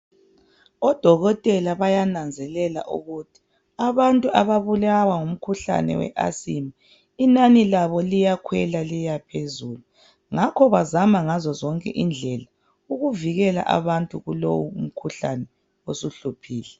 Odokotela bayananzelela ukuthi abantu ababulawa ngumkhuhlane we asthma inani labo liyakhwela liyaphezulu ngakho bazama ngazozonke indlela ukuvikela abantu kulowu umkhuhlane osuhluphile.